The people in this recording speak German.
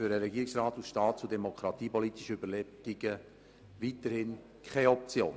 Für den Regierungsrat ist dies aus staats- und demokratiepolitischen Überlegungen weiterhin keine Option.